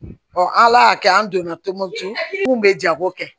ala y'a kɛ an donna tombouctou kun bɛ jago kɛ